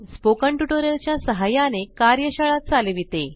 spoken tutorial च्या सहाय्याने कार्यशाळा चालविते